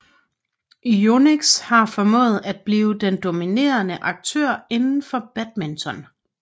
Yonex har formået at blive den dominerende aktør indenfor badminton